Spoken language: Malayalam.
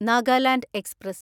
നാഗാലാൻഡ് എക്സ്പ്രസ്